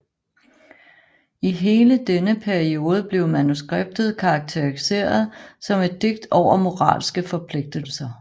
I hele denne periode blev manuskriptet karakteriseret som et digt over moralske forpligtelser